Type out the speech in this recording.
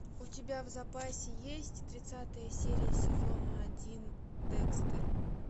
у тебя в запасе есть тридцатая серия сезона один декстер